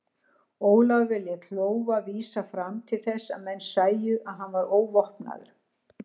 Ólafur lét lófa vísa fram til þess að menn sæju að hann var óvopnaður.